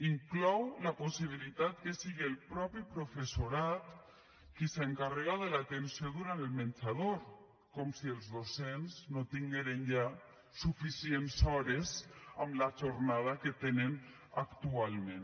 inclou la possibilitat que sigui el mateix professorat qui s’encarrega de l’atenció durant el menjador com si els docents no tingueren ja suficients hores amb la jornada que tenen actualment